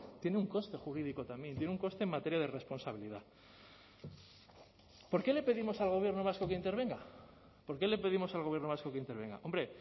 tiene un coste jurídico también tiene un coste en materia de responsabilidad por qué le pedimos al gobierno vasco que intervenga por qué le pedimos al gobierno vasco que intervenga hombre